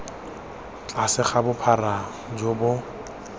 tlase ga bophara jo bo